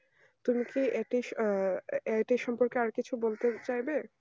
তুমি কি এ~ আহ এটা সম্পর্কে আরো কিছু বলতে চাইবে